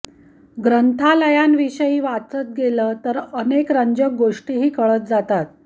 ग्रंथालयांविषयी वाचत गेलं तर अनेक रंजक गोष्टीही कळत जातात